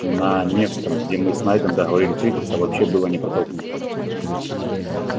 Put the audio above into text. на невском где мы с найдом договорились встретиться вообще было не протолкнуться